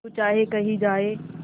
तू चाहे कही जाए